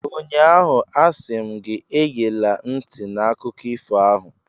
Ụnyaahụ, a sị m gị, egela ntị n'akụkọ ifo ahụ!